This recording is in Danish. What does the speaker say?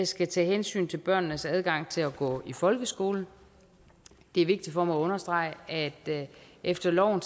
skal tage hensyn til børnenes adgang til at gå i folkeskole det er vigtigt for mig at understrege at efter loven